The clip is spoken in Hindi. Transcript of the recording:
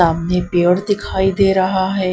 सामने पेड़ दिखाई दे रहा है।